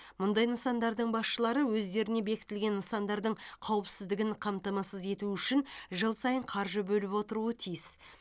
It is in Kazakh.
мұндай нысандардың басшылары өздеріне бекітілген нысандардың қауіпсіздігін қамтамасыз ету үшін жыл сайын қаржы бөліп отыруы керек